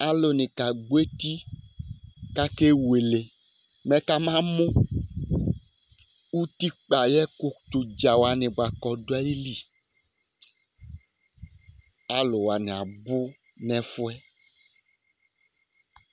Alʋ ni kagbɔ eti kʋ akewle mɛ kama mʋ ʋtikpa ayʋ ɛkʋ tɛ ʋdza wani bʋakʋ ɔdu ayìlí Alu wani abʋ nʋ ɛfʋɛ